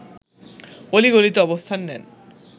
অলি-গলিতে অবস্থান নেন